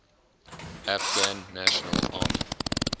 afghan national army